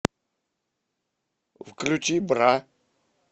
включи бра